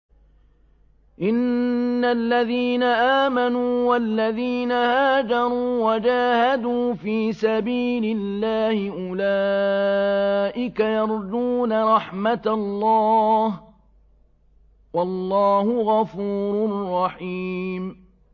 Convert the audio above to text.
إِنَّ الَّذِينَ آمَنُوا وَالَّذِينَ هَاجَرُوا وَجَاهَدُوا فِي سَبِيلِ اللَّهِ أُولَٰئِكَ يَرْجُونَ رَحْمَتَ اللَّهِ ۚ وَاللَّهُ غَفُورٌ رَّحِيمٌ